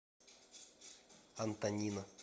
антонина